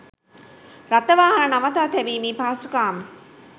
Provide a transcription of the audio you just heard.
රථවාහන නවතා තැබීමේ පහසුකම්